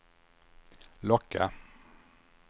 locka